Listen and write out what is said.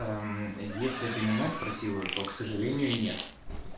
если ты меня спросила то к сожалению нет